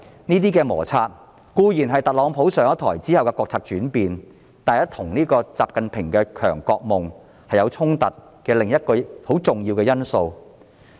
這些摩擦是因特朗普上台後的國策轉變而起，但卻與習近平的強國夢有所衝突，這是另一個很重要的因素。